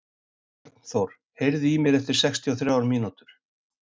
Bjarnþór, heyrðu í mér eftir sextíu og þrjár mínútur.